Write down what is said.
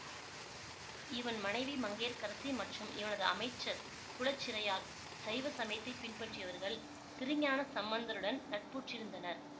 இவன் மனைவி மங்கையர்க்கரசி மற்றும் இவனது அமைச்சர் குலச்சிறையார் சைவ சமயத்தை பின்பற்றியவர்கள் திருஞான சம்பந்தருடன் நட்புற்றிருந்தனர்